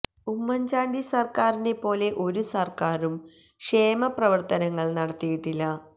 ഉമ്മൻ ചാണ്ടി സർക്കാറിനെ പോലെ ഒരു സർക്കാരും ക്ഷേമ പ്രവർത്തനങ്ങൾ നടത്തിയിട്ടില്ല